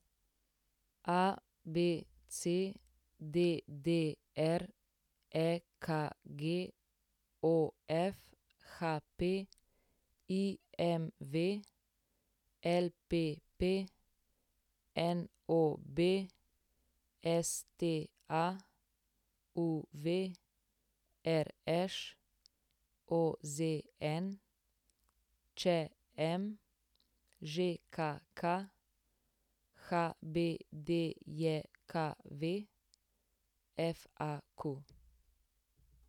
ABC, DDR, EKG, OF, HP, IMV, LPP, NOB, STA, UV, RŠ, OZN, ČM, ŽKK, HBDJKV, FAQ.